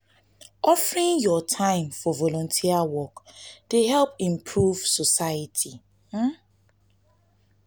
offering yur time um for volunteer work dey help improve society.[ um ].